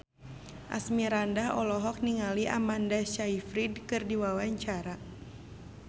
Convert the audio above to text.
Asmirandah olohok ningali Amanda Sayfried keur diwawancara